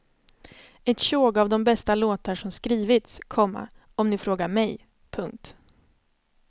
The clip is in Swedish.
Ett tjog av de bästa låtar som skrivits, komma om ni frågar mig. punkt